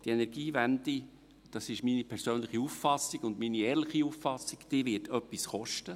Die Energiewende – das ist meine persönliche Auffassung und meine ehrliche Auffassung – wird etwas kosten.